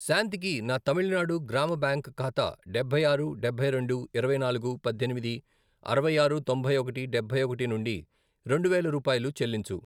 శాంతికి నా తమిళనాడు గ్రామ బ్యాంక్ ఖాతా డబ్బై ఆరు, డబ్బై రెండు, ఇరవై నాలుగు, పద్దెనిమిది, అరవై ఆరు, తొంభై ఒకటి, డబ్బై ఒకటి, నుండి రెండు వేలు రూపాయలు చెల్లించు.